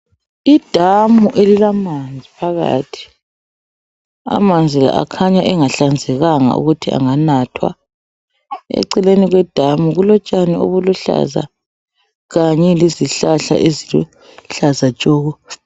Idamu elilamanzi phakathi. Amanzi la, akhanya engahlanzekanga ukuthi anganathwa. Eceleni kwedamu, kulotshani obuluhlaza, kanye lezihlahla, eziluhlaza tshoko!